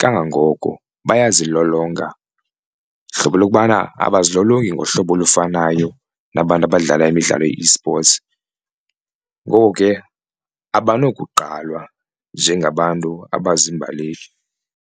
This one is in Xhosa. kangangoko bayazilolonga. Hlobo lokubana abazilolongi ngohlobo olufanayo nabantu abadlala imidlalo ye-esports ngoko ke abanokugqalwa njengabantu abazimbaleki.